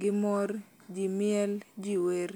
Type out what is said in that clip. gi mor, jimiel, jiwer